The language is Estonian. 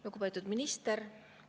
Lugupeetud minister!